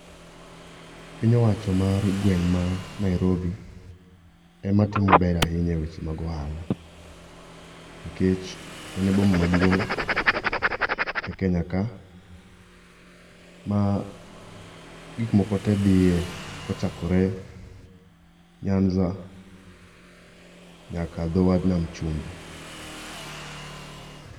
Piny owacho mar gweng ma Nairobi ema timo maber ahinya e weche mag ohala nikech en e boma maduong e Kenya ka ma gik moko tee dhie kochakore Nyanza nyaka dho wadh nam chumbi